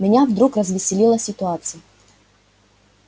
меня вдруг развеселила ситуация